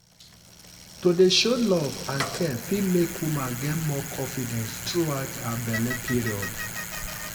to dey show love and care fit make woman get more confidence throughout her belle period.